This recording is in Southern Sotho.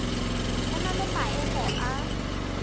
ho na le maemo a